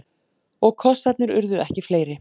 Og kossarnir urðu ekki fleiri.